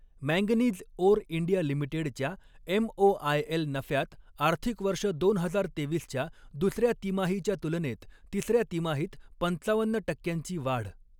Manganese ore India लिमिटेडच्या MOIL नफ्यात आर्थिक वर्ष दोन हजार तेवीसच्या दुसऱ्या तिमाहीच्या तुलनेत तिसऱ्या तिमाहीत पंचावन्न टक्क्यांची वाढ.